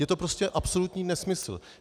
Je to prostě absolutní nesmysl.